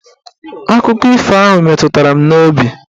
Akụkọ ifo ahụ meturu m n'obi